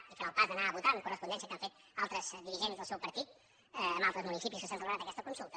i farà el pas d’anar a votar amb correspondència al que han fet altres dirigents del seu partit en altres municipis on s’ha celebrat aquesta consulta